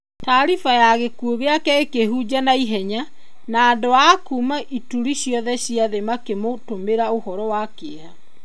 Taariba ya gĩkuũ gĩake ũkĩhunja na ihenya. Na andũ a kuuma ituri ciothe cia thĩ makĩmũtumĩra ũhoro wa kĩeha.